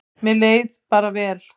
Mér leið bara vel.